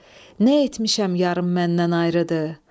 Nə etmişəm yarım məndən ayrıdır.